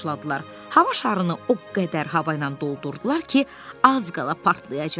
Hava şarını o qədər hava ilə doldurdular ki, az qala partlayacaqdı.